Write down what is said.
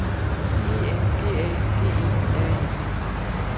E N G A G E R E T